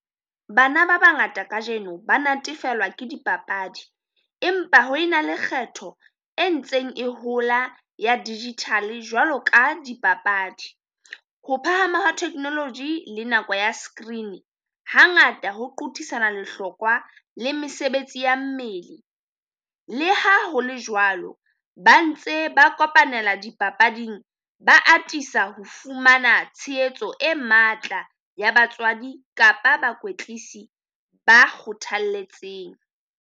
Bana ba bangata kajeno ba natefelwa ke dipapadi empa ho e na le kgetho e ntseng e hola ya digital jwalo ka dipapadi. Ho phahama hwa technology le nako ya skrini hangata ho qothisana lehlokwa le mesebetsi ya mmele. Le ha ho le jwalo ba ntse ba kopanela dipapading, ba atisa ho fumana tshehetso e matla ya batswadi kapa bakwetlisi ba kgothalletseng.